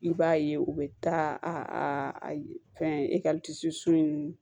I b'a ye u bɛ taa a fɛn so in